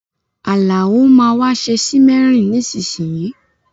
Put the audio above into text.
Àlàó máa wa se simmering nisínsìnyìí